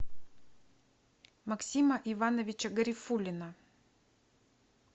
максима ивановича гарифуллина